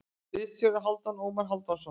Ritstjóri: Hálfdan Ómar Hálfdanarson.